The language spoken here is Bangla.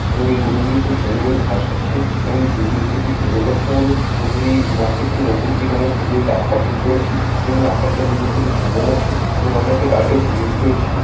এবং এই গরু গুলি খুব সুন্দর করে ঘাস খাচ্ছে এবং এই ভিউ টি দেখতে খুব সুন্দর লাগছে আমাদের এবং এই মাঠটির ঠিক উপরের দিকে আমরা সুন্দর একটি আকাশ দেখতে পারছি এবং এই আকাশ টি আমাদের দেখতে খুব সুন্দর লাগছে এবং আমরা একটা কারেন্টের খুঁটি দেখতে পারছি।